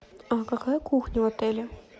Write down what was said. а какая кухня в отеле